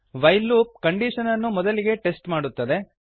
while loop condition ಅನ್ನು ಮೊದಲಿಗೆ test ಮಾಡುತ್ತದೆ